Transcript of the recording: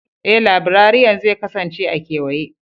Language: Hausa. Ee, laibrariyan zai kasance a kewaye.